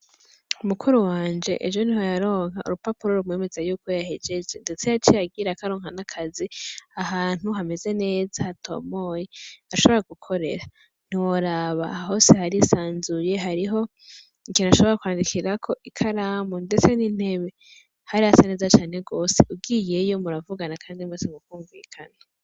Mukuru wanje ejo niho yaronka urupapuro rumwemeza yuko yahejeje, ndetse yaciye agirako aronka n'akazi ahantu hameze neza hatomoye ashobora gukorera, ntiworaba hose harisanzuye hariho ikintu bashobora kwandikirako ikaramu ndetse n'intebe, hari hasa neza cane gose ugiyeyo muravugana kandi mwese mukumvikana.